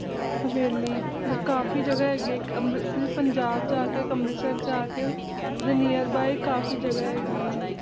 ਹਵੇਲੀ ਕਾਫ਼ੀ ਜਗ੍ਹਾ ਹੈਗੀ ਪੰਜਾਬ ਚ ਜਾ ਕੇ ਅੰਮ੍ਰਿਤਸਰ ਜਾ ਕੇ ਤੇ ਓਹਦੇ nearby ਕਾਫ਼ੀ ਜਗ੍ਹਾ ਹੈਗੀ ਆਂ ਨੇ